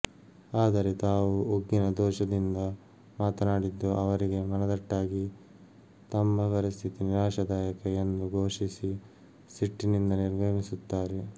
ಆದರೆ ತಾವು ಉಗ್ಗಿನ ದೋಷದಿಂದ ಮಾತನಾಡಿದ್ದು ಅವರಿಗೆ ಮನದಟ್ಟಾಗಿ ತಮ್ಮ ಪರಿಸ್ಥಿತಿ ನಿರಾಶದಾಯಕ ಎಂದು ಘೋಷಿಸಿ ಸಿಟ್ಟಿನಿಂದ ನಿರ್ಗಮಿಸುತ್ತಾರೆ